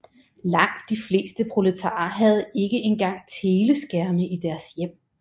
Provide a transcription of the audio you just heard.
Langt de fleste proletarer havde ikke engang teleskærme i deres hjem